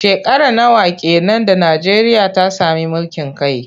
Shekara nawa ke nan da Najeriya ta sami mulkin kai?